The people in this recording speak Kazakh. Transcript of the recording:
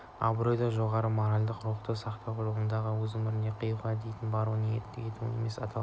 абыройды жоғары моральдық рухты сақтау жолында өз өмірін қиюға дейін баруға ниет ету намыс деп аталады